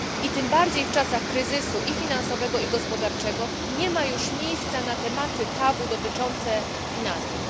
Tym bardziej w czasach kryzysu, i finansowego, i gospodarczego nie ma już miejsca na tematy tabu dotyczące finansów.